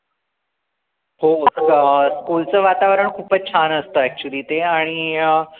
हो school च वातावरण खूपच छान असत actually ते आणि अं